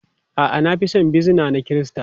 A'a, na fi son bizina na Kirista.